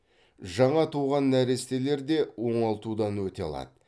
жаңа туған нәрестелер де оңалтудан өте алады